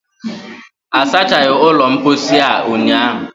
a sachaghi ulo mposi a unyahụ